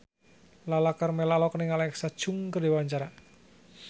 Lala Karmela olohok ningali Alexa Chung keur diwawancara